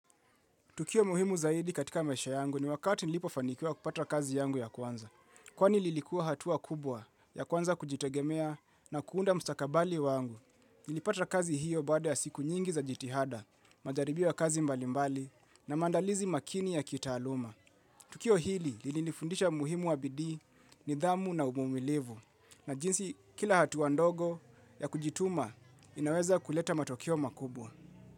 Tukio muhimu zaidi katika maisha yangu ni wakati nilipofanikwa kupata kazi yangu ya kwanza. Kwani lilikuwa hatua kubwa ya kuanza kujitegemea na kuunda mstakabali wangu. Nilipata kazi hio baada ya siku nyingi za jitihada, majaribio ya kazi mbalimbali na maandalizi makini ya kitaaluma. Tukio hili lilinifundisha umuhimu wa bidii, nidhamu na uvumilivu na jinsi kila hatua ndogo ya kujituma inaweza kuleta matokeo makubwa.